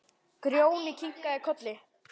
Grjóni kinkar kolli.